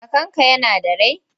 Kakanka yana da rai?